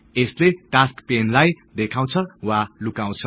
यसले टास्कस् पेनलाई देखाउछ वा लुकाउछ